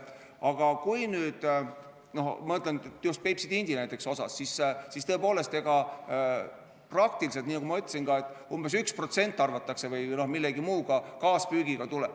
Aga näiteks just Peipsi tindi puhul, tõepoolest, nagu ma ütlesin, umbes 1% arvatakse, et tuleb millegi muuga, kaaspüügiga.